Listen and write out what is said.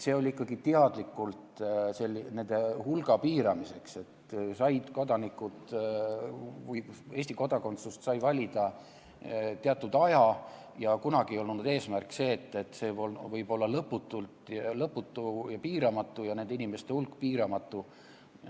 See oli ikkagi teadlikult nende hulga piiramiseks, et Eesti kodakondsust sai valida teatud aja ja kunagi ei olnud eesmärk, et see võib olla lõputu ja nende inimeste hulk piiramatu.